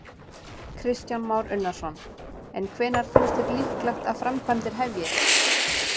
Kristján Már Unnarsson: En hvenær finnst þér líklegt að framkvæmdir hefjist?